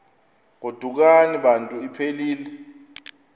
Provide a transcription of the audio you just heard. godukani bantu iphelil